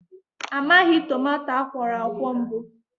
A maghị tomato akwọrọakwọ mbụ